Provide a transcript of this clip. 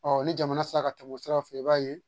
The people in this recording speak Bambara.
ni jamana sera ka tɛmɛ o sira fɛ i b'a ye